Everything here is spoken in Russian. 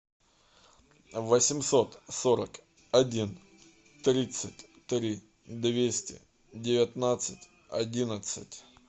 восемьсот сорок один тридцать три двести девятнадцать одиннадцать